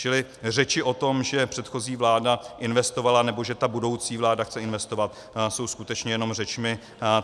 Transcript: Čili řeči o tom, že předchozí vláda investovala nebo že ta budoucí vláda chce investovat, jsou skutečně jenom řečmi.